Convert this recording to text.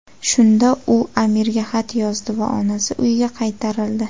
Shunda u amirga xat yozdi va onasi uyga qaytarildi.